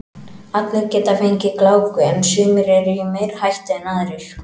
Allir geta fengið gláku en sumir eru í meiri hættu en aðrir.